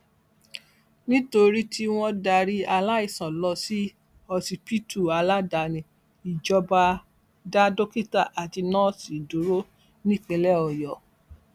nítorí tí wọn darí aláìsàn lọ sí ọsibítù aládàáni ìjọba dá dókítà àti nọọsì dúró nípìnlẹ ọyọ